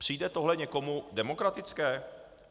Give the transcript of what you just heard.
Přijde tohle někomu demokratické?